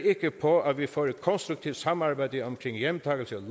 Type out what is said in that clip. ikke på at vi får et konstruktivt samarbejde om hjemtagelse af